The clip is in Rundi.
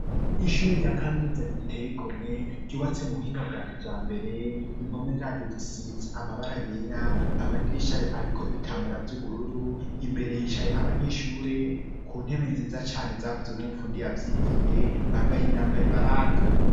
Ishure rya kaminuza riteye igomwe, ryubatse mu buhinga bwa kijambere. Impome zaryo zisize amabara yera, amadirisha yayo ariko ibitambara by'ubururu, imbere hicaye abanyeshure ku ntebe nziza cane zakozwe n' umufundi yavyigiye. Bambaye imyambaro ibaranga.